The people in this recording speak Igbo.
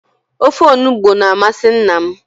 Ofe onugbu na-amasị nna m.